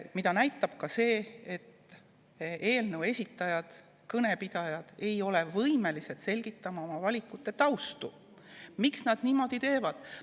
Seda näitab ka see, et eelnõu esitajad, kõnepidajad ei ole võimelised selgitama oma valikute tausta, miks nad niimoodi teevad.